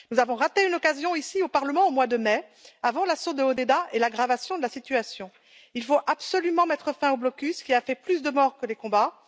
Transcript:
Nous avons raté une occasion ici au Parlement au mois de mai, avant l'assaut de Hodeïda et l'aggravation de la situation. Il faut absolument mettre fin au blocus, qui a fait plus de morts que les combats.